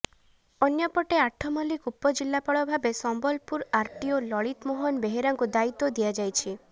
ଅନ୍ୟପଟେ ଆଠମଲ୍ଲିକ ଉପଜିଲ୍ଲାପାଳ ଭାବେ ସମ୍ବଲପୁର ଆରଟିଓ ଲଳିତମୋହନ ବେହେରାଙ୍କୁ ଦାୟିତ୍ୱ ଦିଆଯାଇଛି